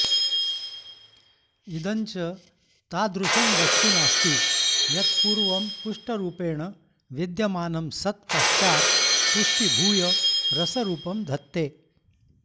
इदं च तादृशं वस्तु नास्ति यत्पूर्वमपुष्टरूपेण विद्यमानं सत् पश्चात् पुष्टीभूय रसरूपं धत्ते